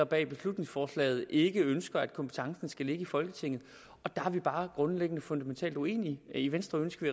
bag beslutningsforslaget ikke ønsker at kompetencen skal ligge i folketinget og der er vi bare grundlæggende og fundamentalt uenige i venstre ønsker